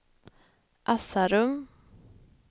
Asarum